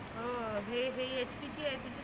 हो हे हे HP चे आहे.